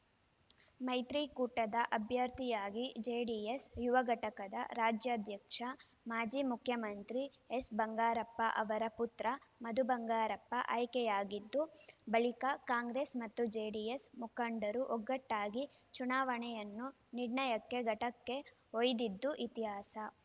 ಮೈತ್ರಿಕೂಟದ ಅಭ್ಯರ್ಥಿಯಾಗಿ ಜೆಡಿಎಸ್‌ ಯುವ ಘಟಕದ ರಾಜ್ಯಾಧ್ಯಕ್ಷ ಮಾಜಿ ಮುಖ್ಯಮಂತ್ರಿ ಎಸ್‌ ಬಂಗಾರಪ್ಪ ಅವರ ಪುತ್ರ ಮಧು ಬಂಗಾರಪ್ಪ ಆಯ್ಕೆಯಾಗಿದ್ದು ಬಳಿಕ ಕಾಂಗ್ರೆಸ್‌ ಮತ್ತು ಜೆಡಿಎಸ್‌ ಮುಖಂಡರು ಒಗ್ಗಟ್ಟಾಗಿ ಚುನಾವಣೆಯನ್ನು ನಿರ್ಣಾಯಕ ಘಟ್ಟಕ್ಕೆ ಒಯ್ದಿದ್ದು ಇತಿಹಾಸ